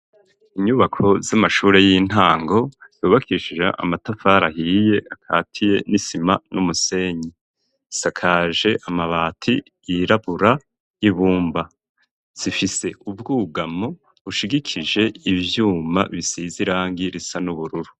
Inyubako z'amashuri y'intango yubakishije amatafari ahiye akatiye n'isima n'umusenyi asakaje amabati yirabura y'ibumba zifise ubwugamo bushigikije ivyuma bisize irangi risa n'ubururu.